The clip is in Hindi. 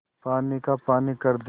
पानी का पानी कर दे